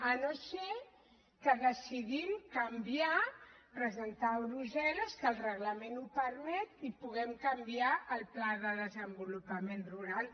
si no és que decidim canviar presentar ho a brussel·les que el reglament ho permet i puguem canviar el pla de desenvolupament rural